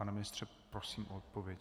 Pane ministře, prosím o odpověď.